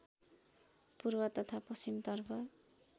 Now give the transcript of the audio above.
पूर्व तथा पश्‍चिमतर्फ